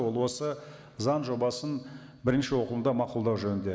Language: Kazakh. ол осы заң жобасын бірінші оқылымда мақұлдау жөнінде